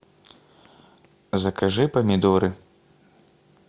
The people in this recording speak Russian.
закажи помидоры